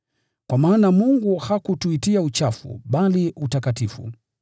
Kwa maana Mungu hakutuitia uchafu, bali utakatifu.